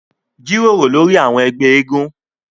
Jíròrò lórí àwọn ẹgbẹ́ eégún